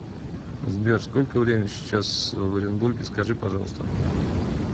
сбер сколько времени сейчас в оренбурге скажи пожалуйста